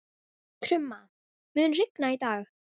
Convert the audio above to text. Krumma, mun rigna í dag?